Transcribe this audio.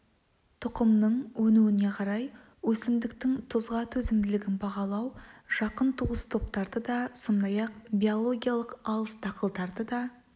тұқымның өнуіне қарай өсімдіктің тұзға төзімділігін бағалау жақын туыс топтарды да сондай-ақ биологиялық алыс дақылдарды да